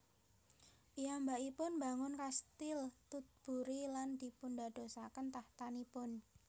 Piyambakipun mbangun Kastil Tutbury lan dipundadosaken tahtanipun